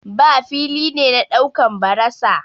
bar fili ne na daukan barasa.